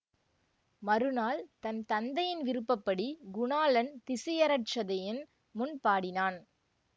மறுநாள் தன் தந்தையின் விருப்ப படி குணாளன் திசியரட்சதையின் முன் பாடினான்